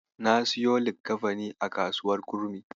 Na siyo likkafanin a kasuwar Kurmi.